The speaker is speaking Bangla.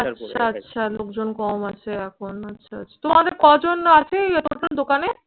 আচ্ছা আচ্ছা লোকজন কম আছে এখন। আচ্ছা আচ্ছা। তোমাদের কজন আছে এই দোকানে?